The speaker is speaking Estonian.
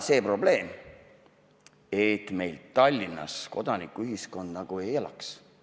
Kas probleem on täna selles, et meil Tallinnas kodanikuühiskond nagu ei elaks?